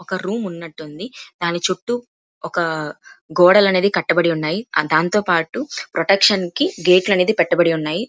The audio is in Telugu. ఒక రూమ్ ఉన్నట్టు ఉంది దాన్ని చుట్టూ ఒక గోడలు అనేవి కట్టబడి ఉన్నాయి దానితో పటు ప్రొటెక్షన్ కి గేట్లు అనేవి పెట్టబడి ఉన్నాయి.